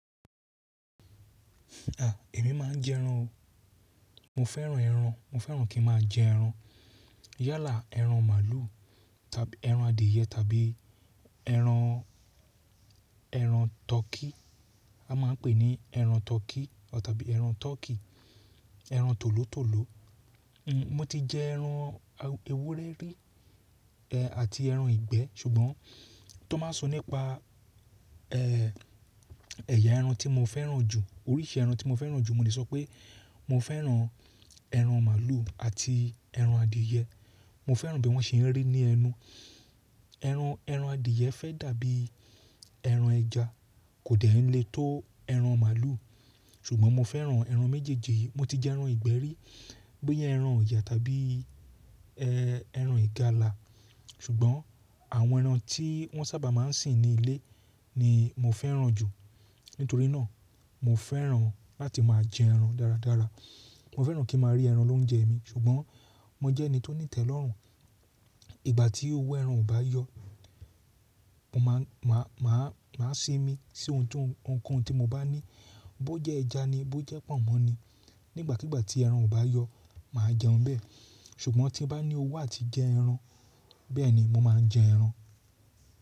À, èmi má ń jẹ ẹran o. Mo fẹ́ràn ẹran, mo fẹ́ràn kí ń má a jẹ ẹran. Yálà ẹran màlúù tàbí ẹran adìẹ tàbí ẹran, ẹran tọ́kí. A máa ń pè ní ẹran tọ́kí tàbí ẹran turkey, ẹran tòló tòló. Hmm, mo ti jẹ ẹran ewúrẹ́ rí, ẹ́ àti ẹran ìgbẹ́ ṣùgbọ́n tó máa sọ nípa ẹẹ́ ẹ̀yà ẹran tí mo fẹ́ràn jù, oríṣi ẹran tí mo fẹ́ràn jù mo lè sọ pé mo fẹ́ràn ẹran màlúù àti ẹran adìẹ. Mo fẹ́ràn bí wọ́n ṣe ń rí ní ẹnu. Ẹran, ẹran adìẹ fẹ́ dàbí ẹran ẹja, kò dẹ̀ ń le tó ẹran màlúù. Ṣùgbọ́n mo fẹ́ràn ẹran méjèèjì yìí. Mo ti jẹ ẹran ìgbẹ́ rí, bóyá ẹran ọ̀yà tàbí ẹ́ ẹran ìgalà. Ṣùgbọ́n àwọn ẹran tí wọ́n sábà máa ń sìn ní ilé ni mo fẹ́ràn jù. Nítorí náà mo fẹ́ràn láti máa jẹ ẹran dáradára. Mo fẹ́ràn kí ń má a rí ẹran l'óúnjẹ mi ṣùgbọ́n mo jẹ́ ẹni tó ní ìtẹ́lọ́rùn. Ìgbà tí owó ẹran ò bá yọ, mo má, máa, máa, máa sìn mí sí ohun tó ń-- ohunkóhun tí mo bá ní. Bó jẹ́ ẹja ni, bó jẹ́ pọ̀nmọ́ ni. Nígbàkígbà tí ẹran ò bá yọ màá jẹun bẹ́ẹ̀. Ṣùgbọ́n tí bá ní owó àti jẹ ẹran, bẹ́ẹ̀ni mo máa jẹ ẹran.